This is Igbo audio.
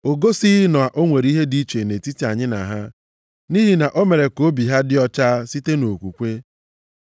O gosighị na o nwere ihe dị iche nʼetiti anyị na ha. Nʼihi na o mere ka obi ha dị ọcha site nʼokwukwe.